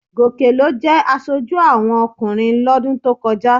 Gòkè ló jẹ aṣojú àwọn ọkùnrin lọ́dún tó kọjá